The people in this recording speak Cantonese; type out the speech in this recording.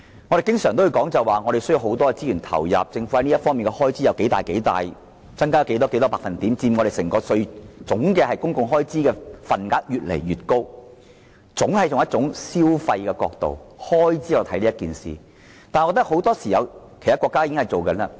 我們經常說必須投放大量資源，政府在這方面涉及多少開支、增加多少百分點、佔整個公共開支越來越高的份額等，總是從消費或開支角度來看整件事情。